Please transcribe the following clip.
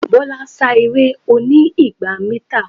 Bọ́lá sá eré oní igba mítà.